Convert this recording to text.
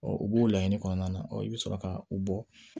u b'o laɲini kɔnɔna na i bɛ sɔrɔ ka u bɔ